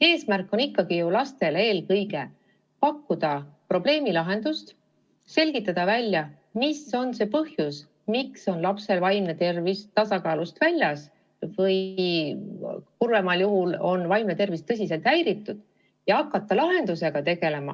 Eesmärk on ju ikkagi eelkõige pakkuda lastele probleemi lahendust, selgitada välja, mis põhjusel on lapse vaimne tervis tasakaalust väljas või kurvemal juhul tõsiselt häiritud, ja hakata lahendust otsima.